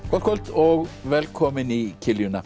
gott kvöld og velkomin í